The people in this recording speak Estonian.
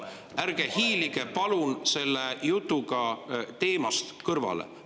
Ärge hiilige palun selle jutuga teemast kõrvale!